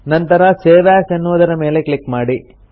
ನಂತರ save as ಎನ್ನುವುದರ ಮೇಲೆ ಕ್ಲಿಕ್ ಮಾಡಿ